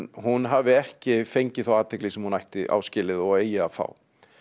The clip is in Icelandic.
hún hafi ekki fengið þá athygli sem hún á skilið og eigi að fá